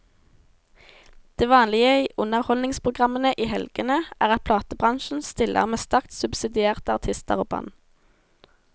Det vanlige i underholdningsprogrammene i helgene er at platebransjen stiller med sterkt subsidierte artister og band.